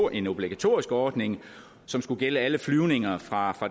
en obligatorisk ordning som skulle gælde alle flyvninger fra